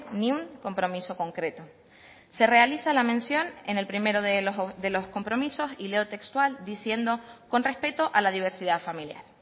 ni un compromiso concreto se realiza la mención en el primero de los compromisos y leo textual diciendo con respeto a la diversidad familiar